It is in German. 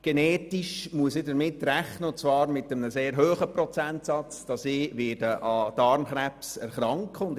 Genetisch bedingt muss ich – und zwar mit einem sehr hohen Prozentsatz – damit rechnen, dass ich an Darmkrebs erkranken werde.